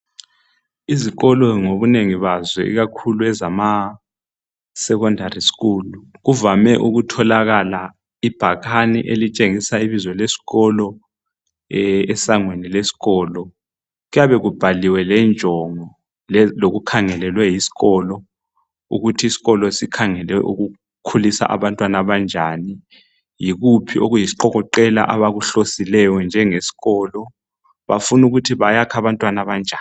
Izikolo ngobunengi bazo ikakhulu ema secondary schools kuvame ukutholakala ibhakane elitshengisa ibizo lesikolo esangweni leskolo , kuyabe kubhaliwe lenjongo lokukhangelelwe yisikolo ukuthi iskolo sikhangale ukukhulisa abantwana abanjani , yikuphi okuyisiqokoqela abakuhlosileyo njengeskolo bafuna ukuthi bayakhe abantwana abanjani